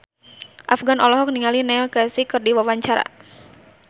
Afgan olohok ningali Neil Casey keur diwawancara